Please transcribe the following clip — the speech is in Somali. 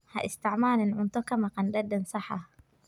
Ha isticmaalin cunto ka maqan dhadhan sax ah.